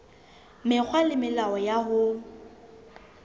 mekgwa le melao ya ho